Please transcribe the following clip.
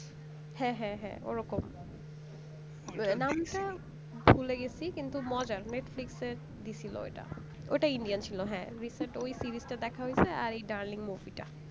হ্যাঁ হ্যাঁ হ্যাঁ ওরকম নামটা ভুলে গেছি কিন্তু মজার netflix এ দিছিলো ওটা ওইটা indian ছিল হ্যাঁ recent ওই series টা দেখা হয়ছে আর এই darling movie টা